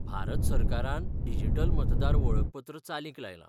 भारत सरकारान डिजिटल मतदार वळखपत्र चालीक लायलां.